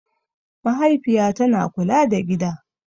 Mahaifiya tana kula da gida.